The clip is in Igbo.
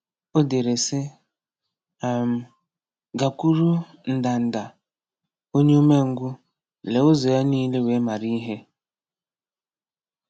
O dere sị: um “Gakwuru ndanda, onye umengwụ, lee ụzọ ya nile wee mara ihe.